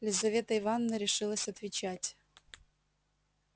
лизавета ивановна решилась отвечать